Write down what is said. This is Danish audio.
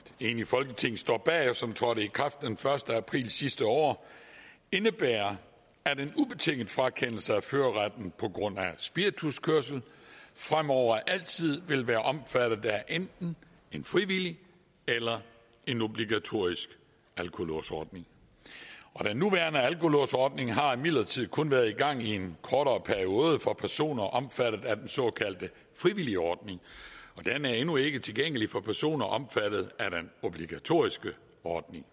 enigt folketing står bag og som trådte i kraft den første april sidste år indebærer at en ubetinget frakendelse af førerretten på grund af spirituskørsel fremover altid vil være omfattet af enten en frivillig eller en obligatorisk alkolåsordning den nuværende alkolåsordning har imidlertid kun været i gang i en kortere periode for personer omfattet af den såkaldte frivilligordning og den er endnu ikke tilgængelig for personer omfattet af den obligatoriske ordning